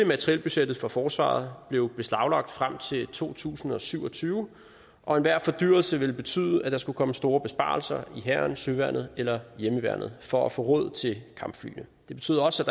materielbudgettet for forsvaret blev beslaglagt frem til to tusind og syv og tyve og enhver fordyrelse ville betyde at der skulle komme store besparelser i hæren søværnet eller hjemmeværnet for at få råd til kampflyene det betød også